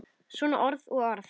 Svona orð og orð.